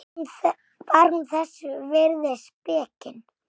Var hún þess virði spekin?